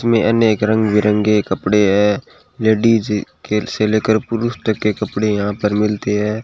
इसमें अनेक रंग बिरंगे कपड़े हैं लेडीज के से लेकर पुरुष तक के कपड़े यहां पर मिलते हैं।